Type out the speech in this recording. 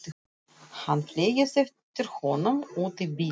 Hann fleygist eftir honum út í bíl.